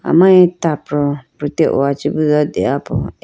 amari tapro prute oh chibido deyapo.